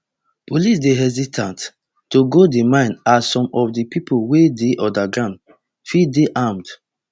police dey hesitate to go di mine as some of di pipo wey dey underground fit dey armed